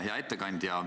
Hea ettekandja!